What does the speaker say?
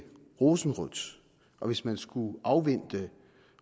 rosenrødt og hvis man skulle afvente